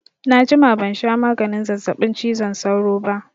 Na jima ban sha maganin zazzaɓin cizon sauro ba